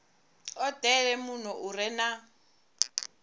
odele muno u re na